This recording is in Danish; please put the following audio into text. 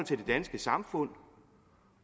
det danske samfund